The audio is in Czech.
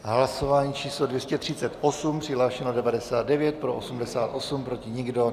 Hlasování číslo 238, přihlášeno 99, pro 88, proti nikdo.